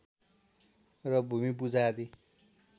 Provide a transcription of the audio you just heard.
र भूमिपूजा आदि